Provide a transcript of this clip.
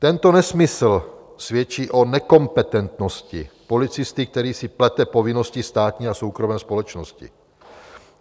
Tento nesmysl svědčí o nekompetentnosti policisty, který si plete povinnosti státní a soukromé společnosti.